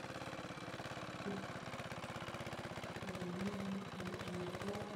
ore iwunisho mitushul ake enterit eshuma woo niabori, amu eneshumata napir na ninye esidai teunishore